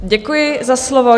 Děkuji za slovo.